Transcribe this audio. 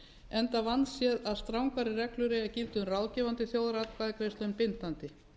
enda vandséð að strangari reglur eiga að gilda um ráðgefandi þjóðaratkvæðagreiðslur en bindandi